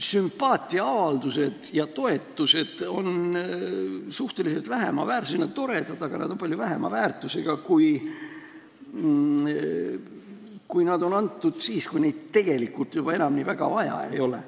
Sümpaatiaavaldused ja toetused on toredad, aga nad on palju väiksema väärtusega, kui nad on osutatud ja antud siis, kui neid tegelikult enam väga vaja ei ole.